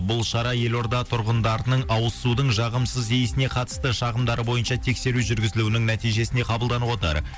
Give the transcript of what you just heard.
бұл шара елорда тұрғындарының ауыз судың жағымсыз иісіне қатысты шағымдары бойынша тексеру жүргізілуінің нәтижесіне қабылданып отыр